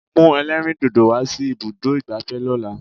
Mú ẹlẹ́rìndòdò wá sí ibùdó ìgbafẹ́ lọ́la!